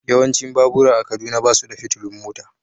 Yawancin babura a Kaduna ba su da fitilun mota.